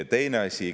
Teine asi.